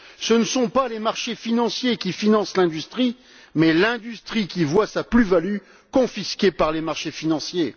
Ce ne sont pas les marchés financiers qui financent l'industrie, mais l'industrie qui voit sa plus value confisquée par les marchés financiers.